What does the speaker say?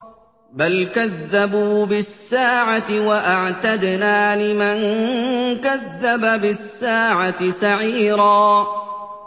بَلْ كَذَّبُوا بِالسَّاعَةِ ۖ وَأَعْتَدْنَا لِمَن كَذَّبَ بِالسَّاعَةِ سَعِيرًا